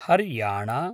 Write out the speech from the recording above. Haryana